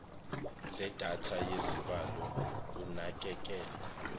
zedatha yezibalo unakekelo